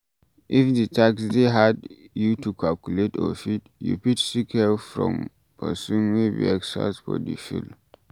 If di tax dey hard you to calculate or fix, you fit seek help from person wey be expert for di field